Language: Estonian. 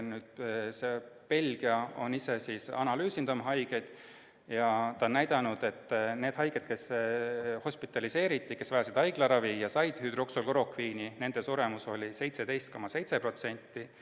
Belgia on ise oma haiged analüüsinud ja näidanud, et nende haigete suremus, kes hospitaliseeriti, sest vajasid haiglaravi, ja kes said hüdroksüklorokviini, oli 17,7%.